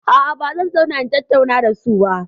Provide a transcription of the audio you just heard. A'a, ba zan zauna in tattauna da su ba.